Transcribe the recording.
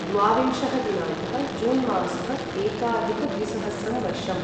द्वाविंशः दिनाङ्कः जून् मासः एकाधिकद्विसहस्रं वर्षम्